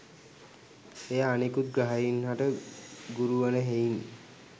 එය අනෙකුත් ග්‍රහයින් හට ගුරු වන හෙයින්